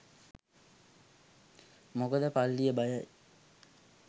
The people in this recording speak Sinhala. මොකද පල්ලිය බයයි